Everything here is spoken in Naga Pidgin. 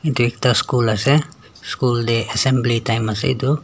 etu ekta school asa school tae assembly time ase etu.